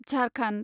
Jharkhand